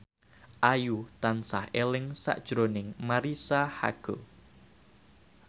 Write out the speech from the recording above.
Ayu tansah eling sakjroning Marisa Haque